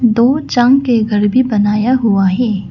दो के घर भी बनाया हुआ है।